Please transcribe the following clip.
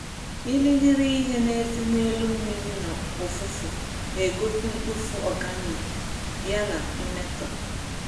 Irighiri ihe na-ese n'elu mmiri na ụfụfụ na-egosi mkpofu organic ya na mmetọ